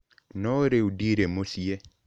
No rĩu ndirĩ mũciĩ